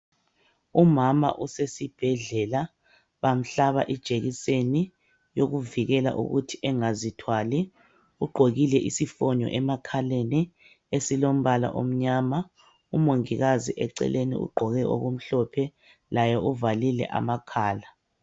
Umama usesibhedlela bamhlaba ijekiseni yokuvikela ukuthi engazithwali ugqokile isifonyo emakhaleni esilombala omnyama. Umongikazi eceleni ugqoke okumhlophe laye uvalile amakhala.